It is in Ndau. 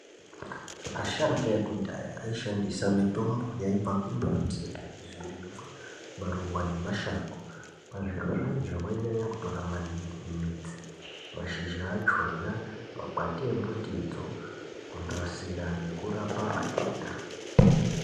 Asharukwa ekudhaya aishandisa mitombo yaibva kumbiti zvirimwa maruwa ngemashango pazvirozvo vainyanyotora midzi mashizha achona makwati embutidzo kunatsira nekurapa matenda .